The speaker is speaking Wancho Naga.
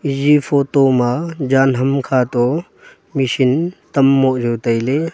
iya photo ma jan ham kha toh machine v tom moh nu tailey.